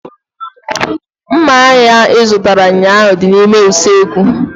Mma ahu ị zụtara ụnyaahụ dị n'ime usekwu